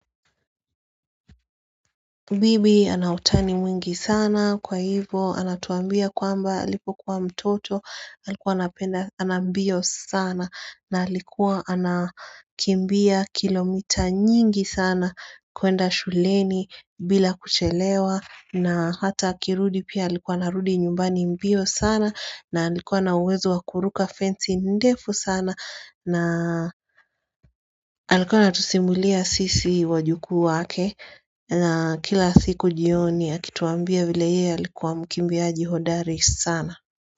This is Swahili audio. Bibi ana utani mwingi sana kwa hivo anatuambia kwamba alipokuwa mtoto Alikuwa anapenda ana mbio sana na alikuwa anakimbia kilomita nyingi sana kuenda shuleni bila kuchelewa na hata akirudi pia alikuwa anarudi nyumbani mbio sana na alikuwa na uwezo wa kuruka fencing ndefu sana na alikuwa anatusimulia sisi wajukuu wake na kila siku jioni akituambia vile yeye alikuwa mkimbiaji hodari sana.